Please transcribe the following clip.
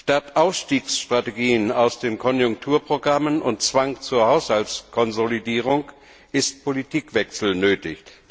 Statt Ausstiegsstrategien aus den Konjunkturprogrammen und Zwang zur Haushaltskonsolidierung ist Politikwechsel nötig.